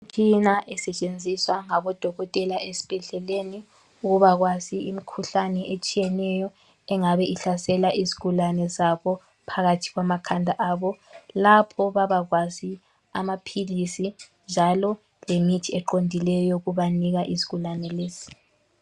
Imitshina esentshenziswa ngabodokotela ezibhedleleni ukubakwazi imikhuhlane ehlasela izigulane zabo. Lapho babakwazi amaphilisi lemithi eqondileyo yokunika izigulane lezi.